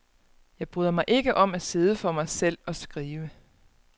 Jeg bryder mig ikke om at sidde for mig selv og skrive.